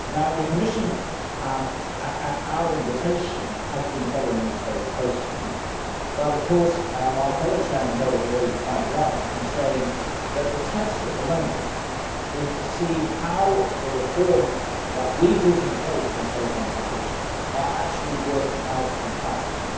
The Commission, at our invitation, has been following this very closely, but of course my fellow chairman, Herbert Reul, is quite right in saying that the test at the moment is to see how the reforms that we put in place in the Telecoms Package are actually working out in practice.